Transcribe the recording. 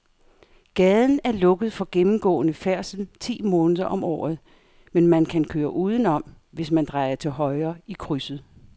Gaden er lukket for gennemgående færdsel ti måneder om året, men man kan køre udenom, hvis man drejer til højre i krydset.